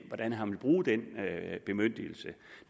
hvordan han vil bruge den bemyndigelse